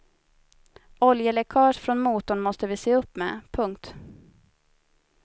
Oljeläckage från motorn måste vi se upp med. punkt